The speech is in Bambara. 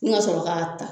N ka sɔrɔ k'a ta